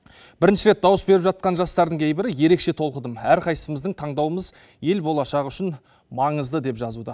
бірінші рет дауыс беріп жатқан жастардың кейбірі ерекше толқыдым әрқайсымыздың таңдауымыз ел болашағы үшін маңызды деп жазуда